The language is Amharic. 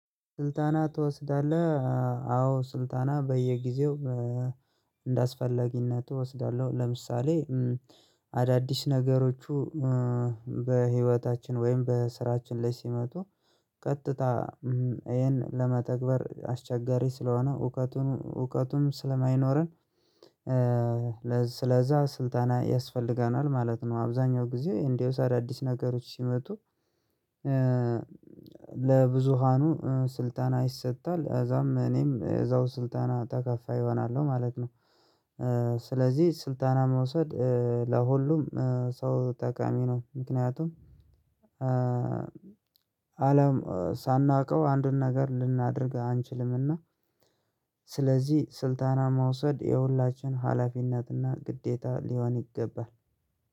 ስልጠና ትወስዳለህ? አወ ስልጠና በየጊዜው እንደ አስፈላጊነቱ እወስዳለሁ። ለምሳሌ አዳዲስ ነገሮች በህይወታችን ወይም በስራችን ላይ ሲመጡ ቀጥታ ይሄን ለመተግበር አስቸጋረ ስለሆነ እውቀቱን እውቀቱም ስለማይኖረን ስለዛ ስልጠና ያስፈልገናል ማለት ነው። አብዛኛው ጊዜ አዳዲስ ነገሮች ሲመጡ ለብዙሃኑ ስልጠና ይሰጣል እዛም እኔም እዛው ስልጠና ተካፋይ እሆናለሁ ማለት ነው። ስለዚህ ስልጠና መውሰድ ለሁሉም ሰው ጠቃሚ ነው ምክንያቱም አለም ሳናውቀው አንድን ነገር ልናደርግ አንችልም። እና ስለዚህ ስልጠና መውሰድ የሁላችን ሀላፊነት እና ግዴታ ሊሆን ይገባል